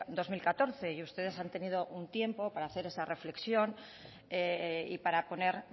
dos mil catorce y ustedes han tenido un tiempo para hacer esa reflexión y para poner